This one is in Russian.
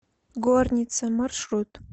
горница маршрут